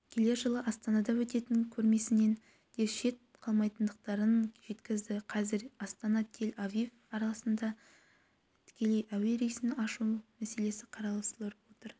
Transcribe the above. келер жылы астанада өтетін көрмесінен де шет қалмайтындықтарын жеткізді қазір астана-тель-авив арасында тікелей әуе рейсін ашу мәселесі қаралып жатыр